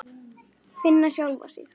Finna sjálfa sig.